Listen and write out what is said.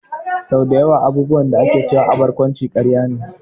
Sau dayawa abubuwan da ake cewa a barkwanci karya ne